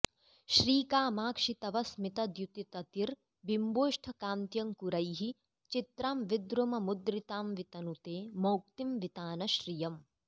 श्रीकामाक्षि तव स्मितद्युतिततिर्बिम्बोष्ठकान्त्यङ्कुरैः चित्रां विद्रुममुद्रितां वितनुते मौक्तीं वितानश्रियम्